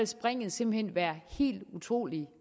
springet simpelt hen være helt utrolig